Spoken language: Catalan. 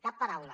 cap paraula